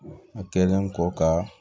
A kɛlen kɔ ka